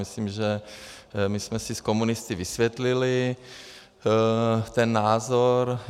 Myslím, že my jsme si s komunisty vysvětlili ten názor.